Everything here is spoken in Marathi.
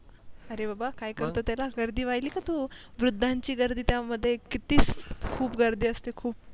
अरे बाबा काय करतो त्याला गर्दी पहिली का तू वृद्धानंची गर्दी त्या मध्ये किती खूप गर्दी असते खूप